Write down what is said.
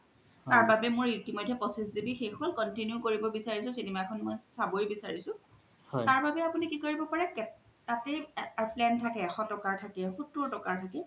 তাৰ বাবে মোৰ পঁচিছ GBশেষ হ্'ল continue কৰিব বিচাৰিছো cinema এখন মই চাবই বিচাৰিছো তাৰ বাবে আপুনি কি কৰিব পাৰে তাতে plan থাকে এশ টকাৰ থাকে সত্তৰ টকাৰ থাকে